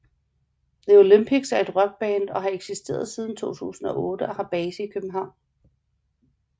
The Olympics er et rockband og har eksisteret siden 2008 og har base i København